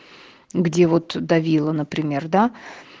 где вот давила например да